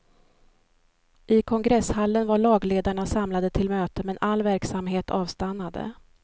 I kongresshallen var lagledarna samlade till möte, men all verksamhet avstannade.